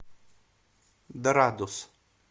дорадус